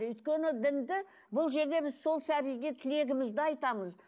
өйткені дінді бұл жерде біз сол сәбиге тілегімізді айтамыз